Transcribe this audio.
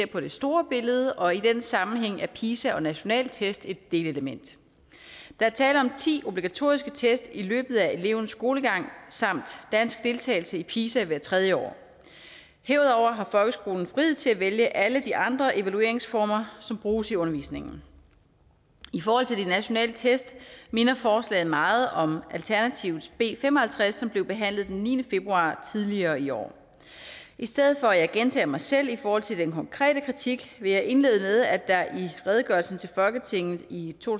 på det store billede og i den sammenhæng er pisa og nationale test et delelement der er tale om ti obligatoriske test i løbet af elevens skolegang samt dansk deltagelse i pisa hvert tredje år herudover har folkeskolen frihed til at vælge alle de andre evalueringsformer som bruges i undervisningen i forhold til de nationale test minder forslaget meget om alternativets b fem og halvtreds som blev behandlet den niende februar tidligere i år i stedet for at gentage mig selv i forhold til den konkrete kritik vil jeg indlede med at der i redegørelsen til folketinget i to